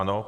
Ano.